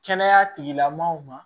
Kɛnɛya tigilamaaw ma